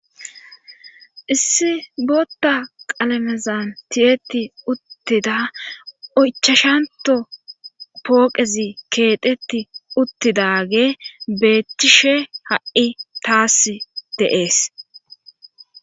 issi bootta qalamezan tiyeti uttida oychashanto pooqezi keeteti uttidage beettishe ha7i taas deees